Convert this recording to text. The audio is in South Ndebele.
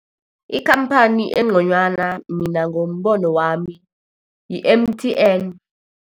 Ikhamphani engconywana mina ngombono wami, yi-M_T_N.